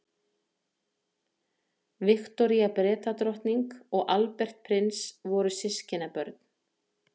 viktoría bretadrottning og albert prins voru systkinabörn